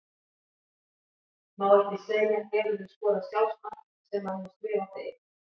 Má ekki segja Hefurðu skorað sjálfsmark sem að má skrifa á þig?